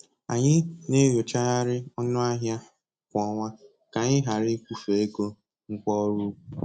Anyị na-enyochagharị ọnụ ahịa kwa ọnwa, ka-anyị ghara ịkwụfe ego ngwa ọrụ ugbo